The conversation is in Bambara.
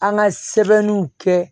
An ka sɛbɛnniw kɛ